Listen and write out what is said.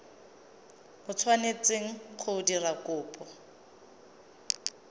o tshwanetseng go dira kopo